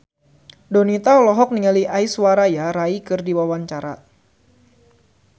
Donita olohok ningali Aishwarya Rai keur diwawancara